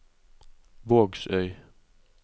Vågsøy